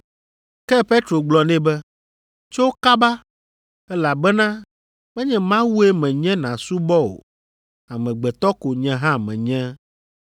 Ke Petro gblɔ nɛ be, “Tso kaba, elabena menye Mawue menye nàsubɔ o. Amegbetɔ ko nye hã menye.”